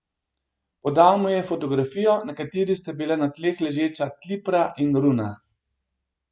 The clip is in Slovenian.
Podal mu je fotografijo, na kateri sta bila na tleh ležeča Klipra in Runa.